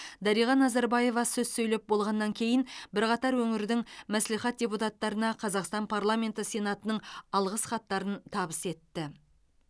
дариға назарбаева сөз сөйлеп болғаннан кейін бірқатар өңірдің мәслихат депутаттарына қазақстан парламенті сенатының алғыс хаттарын табыс етті